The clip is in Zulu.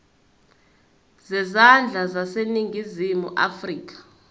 zezandla zaseningizimu afrika